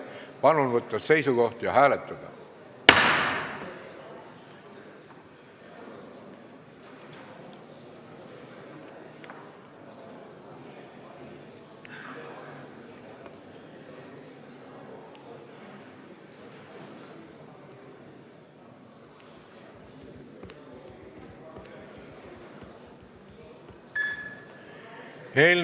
Palun võtta seisukoht ja hääletada!